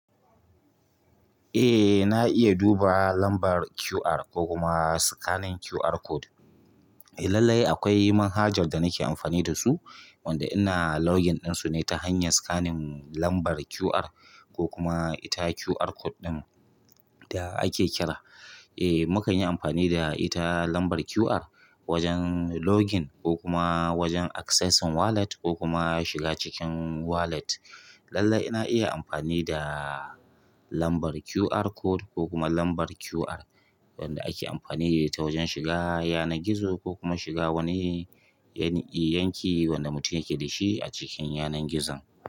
Eh, na iya duba lambar QR ko kuma scanning QR code. Eh lallai akwai manhajar da nake amfani da su, wanda ina login ɗin su ne ta hanyar scanning lambar QR ko kuma ita QR code ɗin da ake kira. Eh, mukan yi amfani da ita lambar QR wajen login ko kuma wajen accessing wallet ko kuma shiga cikin wallet. Lallai ina iya amfani da lambar QR code ko kuma lambar QR wanda ake amfani da ita wajen shiga yanar gizo ko kuma shiga wani yani yanki wanda mutum yake da shi a cikin yanar gizon.